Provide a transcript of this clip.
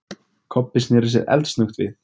Kobbi sneri sér eldsnöggt við.